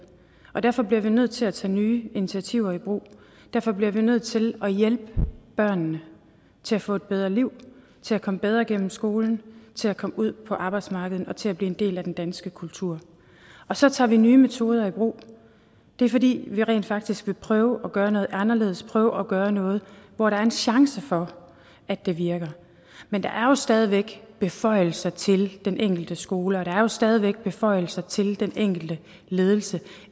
og derfor bliver vi nødt til at tage nye initiativer i brug derfor bliver vi nødt til at hjælpe børnene til at få et bedre liv til at komme bedre gennem skolen til at komme ud på arbejdsmarkedet og til at blive en del af den danske kultur og så tager vi nye metoder i brug det er fordi vi rent faktisk vil prøve at gøre noget anderledes og prøve at gøre noget hvor der er en chance for at det virker men der er jo stadig væk beføjelser til den enkelte skole og der er stadig væk beføjelser til den enkelte ledelse